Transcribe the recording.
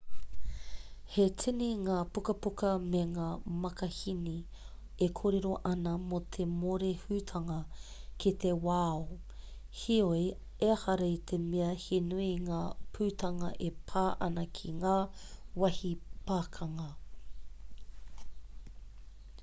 he tini ngā pukapuka me ngā makahīni e kōrero ana mō te mōrehutanga ki te wao heoi ehara i te mea he nui ngā putanga e pā ana ki ngā wāhi pakanga